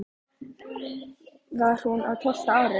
Þá var hún á tólfta ári.